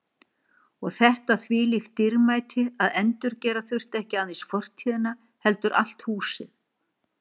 Og þetta þvílíkt dýrmæti að endurgera þurfti ekki aðeins fortíðina heldur allt húsið.